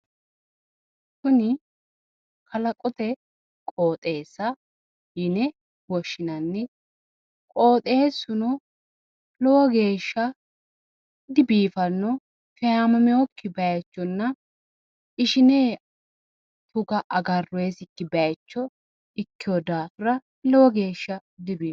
Kuni kalaqote qooxeessa yine woshshinanni. Qooxeessuno lowo geeshsha dibiiffanno feeyaamameewookki baayichonna ishine bukko agaroonnikki baaycho ikkeewo daafira lowo geeshsha dibiiffanno.